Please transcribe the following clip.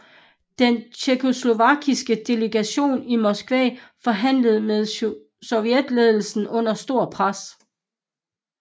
Den tjekkoslovakiske delegation i Moskva forhandler med sovjetledelsen under stort pres